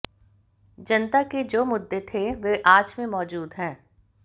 जनता के जो मुद्दे थे वे आज भी मौजूद हैं